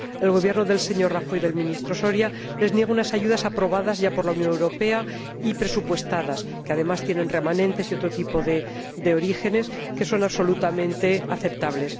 El Gobierno del señor Rajoy y del Ministro Soria les niegan unas ayudas aprobadas ya por la Unión Europea y presupuestadas que, además, tienen remanentes y otro tipo de orígenes que son absolutamente aceptables.